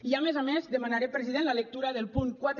i a més a més demanaré president la lectura del punt quatre